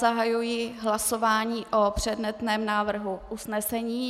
Zahajuji hlasování o předmětném návrhu usnesení.